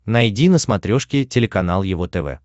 найди на смотрешке телеканал его тв